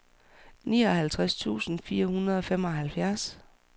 nioghalvtreds tusind fire hundrede og femoghalvfjerds